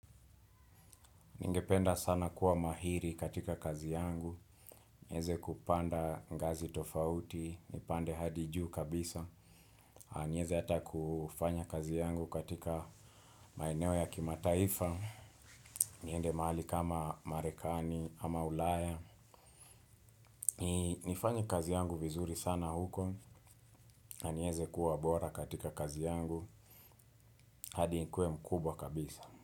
Ningependa sana kuwa mahiri katika kazi yangu, nieze kupanda ngazi tofauti, nipande hadi juu kabisa, nieze ata kufanya kazi yangu katika maeneo ya kimataifa, niende mahali kama marekani ama ulaya. Nifanye kazi yangu vizuri sana huko, na nieze kuwa bora katika kazi yangu, hadi nikuwe mkubwa kabisa.